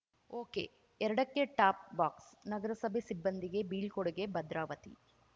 ಒಕೆಎರಡಕ್ಕೆ top ಬಾಕ್ಸ್‌ನಗರಸಭೆ ಸಿಬ್ಬಂದಿಗೆ ಬೀಳ್ಕೊಡುಗೆ ಭದ್ರಾವತಿ